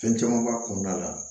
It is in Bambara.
Fɛn caman b'a kɔnɔna la